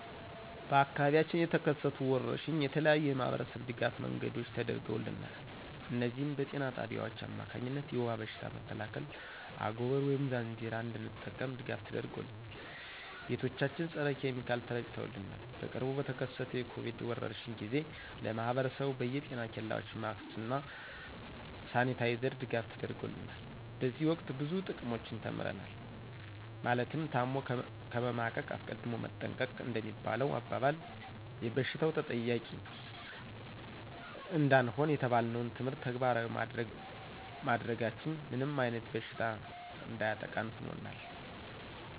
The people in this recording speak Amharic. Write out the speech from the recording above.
በአካባቢያችን በተከሰቱ ወረርሽኝ የተለያዩ የማህበረሰብ ድጋፍ መንገዶች ተደርገውልናል እነዚህም በጤና ጣቢያዎች አማካኝነት የውባ በሽታ መከላከያ አጎበር ወይም ዛንዚራ እንድንጠቀም ድጋፍ ተደርጎልናል። ቤቶቻችን ፀረ ኪሚካል ተረጭተውልናል። በቅርቡ በተከሰተው የኮቪድ ወረርሽኝ ጊዜ ለማህብረሰቡ በየ ጤና ኬላዎች ማክስ እና ሳኒታይዘር ድጋፍ ተደርጎልናል። በዚህ ወቅት ብዙ ጥቅሞችን ተምረናል ማለትም ታሞ ከመማቀቅ አስቀድሞ መጠንቀቅ እንደሚባለሁ አባባል ይበሽታው ተጠቂ እንዳንሆን የተባልነውን ትምህርት ተግባራዊ ባማድረጋችን ምንም አይነት በሽታ እንዳያጠቃን ሁነናል